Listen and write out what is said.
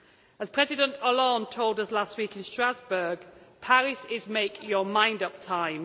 As President Hollande told us last week in Strasbourg, Paris is make your mind up time.